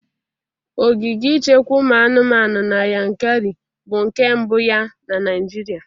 Ogige ichekwa ụmụ anụmanụ na Yankarị bụ nke mbụ ya na Nịajịrịa.